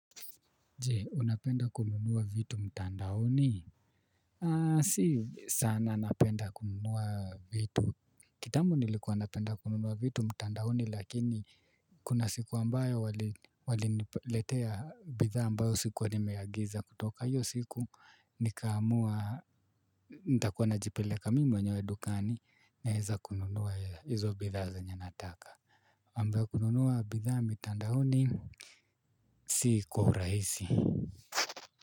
Je, unapenda kununua vitu mtandaoni? Sii sana napenda kununua vitu. Kitambo nilikuwa napenda kununua vitu mtandaoni lakini kuna siku ambayo waliniletea bidhaa ambayo sikuwa nimeagiza kutoka hiyo siku nikaamua nitakuwa najipeleka mimi mwenyewe dukani naeza kununua hizo bidhaa zenye nataka. Ambaye kununua bidhaa mitandaoni si kwa urahisi.